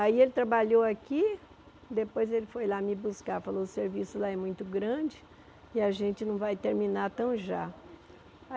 Aí ele trabalhou aqui, depois ele foi lá me buscar, falou o serviço lá é muito grande e a gente não vai terminar tão já.